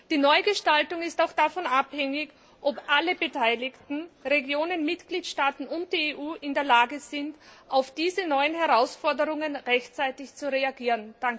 Die Neugestaltung ist auch davon abhängig, ob alle Beteiligten Regionen, Mitgliedstaaten und die EU in der Lage sind, auf diese neuen Herausforderungen rechtzeitig zu reagieren.